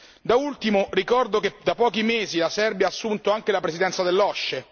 Da ultimo ricordo che da pochi mesi la Serbia ha assunto anche la presidenza dell'OSCE.